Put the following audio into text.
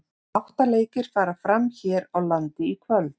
Átta leikir fara fram hér á landi í kvöld.